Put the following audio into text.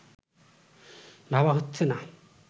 ভাবা হচ্ছে না